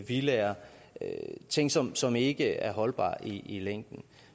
villaer ting som som ikke er holdbare i længden